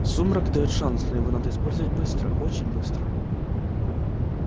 сумрак даёт шанс но его надо использовать быстро очень быстро